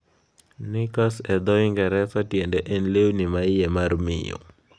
Knickers e dho Ingresa tiende en lewni ma iye mar miyo.